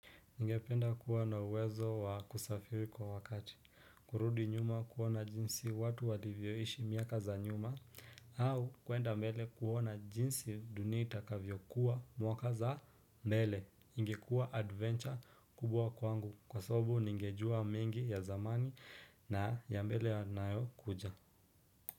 Ningependa kuwa na uwezo wa kusafiri kwa wakati, kurudi nyuma kuona jinsi watu walivyoishi miaka za nyuma, au kwenda mbele kuona jinsi dunia itakavyo kuwa mwaka za mbele, ingekuwa adventure kubwa kwangu, kwa sababu ningejua mingi ya zamani na ya mbele yanayokuja.